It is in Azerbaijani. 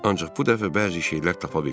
Ancaq bu dəfə bəzi şeylər tapa bildim.